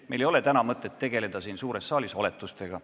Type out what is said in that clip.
Meil ei ole mõtet tegeleda täna siin suures saalis oletustega.